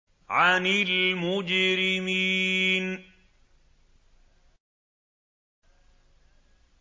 عَنِ الْمُجْرِمِينَ